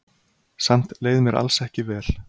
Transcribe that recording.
Samt leið mér alls ekki vel.